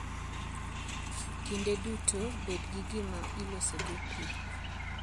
Kinde duto bed gi gima ilosogo pi.